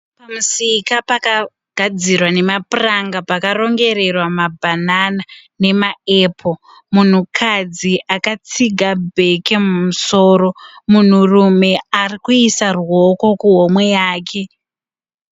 Musika pakagadzirwa a nemapuranga. Pakarongererwa mabhanana nemaepuru. Munhukadzi akatsiga bheke mumusoro. Munhurume arikuisa ruoko kuhomwe yake.